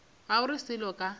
ga o re selo ka